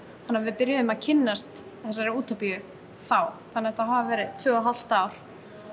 þannig að við byrjuðum að kynnast þessari útópíu þá þannig að þetta hafa verið tvö og hálft ár